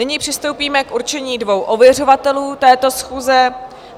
Nyní přistoupíme k určení dvou ověřovatelů této schůze.